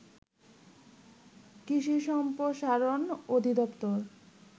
কৃষি সম্প্রসারণ অধিদপ্তর